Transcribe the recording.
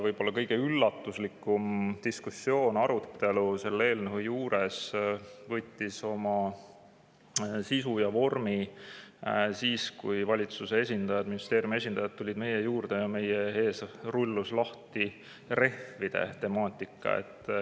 Võib-olla kõige üllatuslikum diskussioon või arutelu selle eelnõu juures oma sisu või vormi siis, kui meie juurde tulid valitsuse ja ministeeriumi esindajad ning rullus lahti rehvide temaatika.